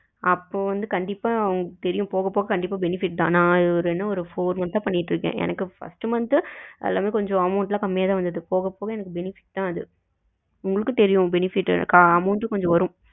அப்போ வந்து கண்டிப்பா உங்களுக்கு தெரியும் போக போக கண்டிப்பா benefit தான் நா இதுல என்ன four month அ பண்ணிக்கிட்டு இருக்கேன் எனக்கு first month எல்லாமே amount எல்லாம் கொஞ்ச கம்மியா தான் வந்தது போக போக எனக்கு benefit தான் அது உங்களுக்கு தெரியும் benefit இருக்கா amount வும் கொஞ்ச வரும்.